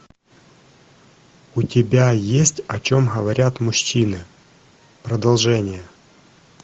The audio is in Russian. у тебя есть о чем говорят мужчины продолжение